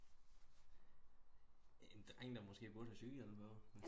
En dreng der måske burde have cykelhjelm på